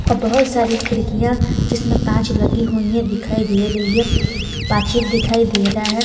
और बहुत सारी खिड़कियां जिसमें कांच लगी हुई है दिखाई दे रही है पाचिल दिखाई दे रहा है।